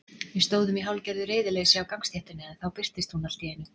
Við stóðum í hálfgerðu reiðileysi á gangstéttinni en þá birtist hún allt í einu.